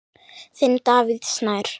Þinn, Davíð Snær.